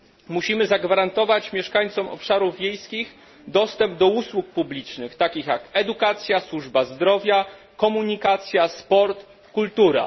Musimy zagwarantować mieszkańcom obszarów wiejskich dostęp do usług publicznych, takich jak edukacja, służba zdrowia, komunikacja, sport, kultura.